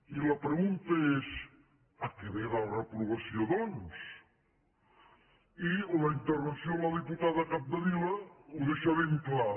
i la pregunta és a què ve la reprovació doncs i la intervenció de la diputada capdevila ho deixa ben clar